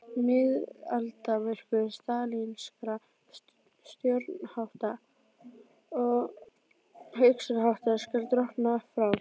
Miðaldamyrkur stalínískra stjórnarhátta og hugsunarháttar skal drottna frá